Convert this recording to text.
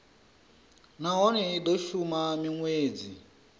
nahone i do shuma minwedzi